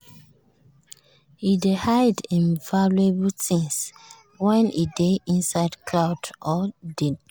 e dey hide im valuable things when e dey inside crowd or dey travel.